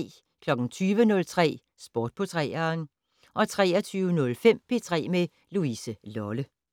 20:03: Sport på 3'eren 23:05: P3 med Louise Lolle